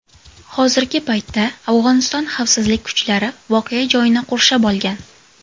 Hozirgi paytda Afg‘oniston xavfsizlik kuchlari voqea joyini qurshab olgan.